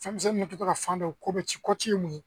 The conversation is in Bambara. Fɛnmisɛn ninnu tora ka fan dɔ koti ye mun ye